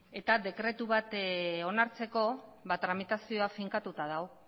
eta dekretu bat onartzeko tramitazioak finkatuta dago